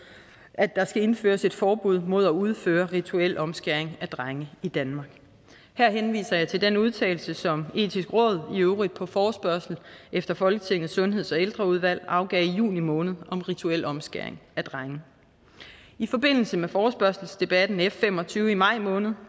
at der skal indføres et forbud mod at udføre rituel omskæring af drenge i danmark her henviser jeg til den udtalelse som det etiske råd i øvrigt på forespørgsel efter folketingets sundheds og ældreudvalg afgav i juni måned om rituel omskæring af drenge i forbindelse med forespørgselsdebatten f fem og tyve i maj måned